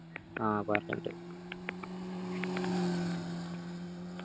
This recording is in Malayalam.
ആ പറഞ്ഞിണ്ട്‌